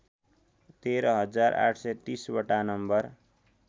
१३ हजार ८३० वटा नम्बर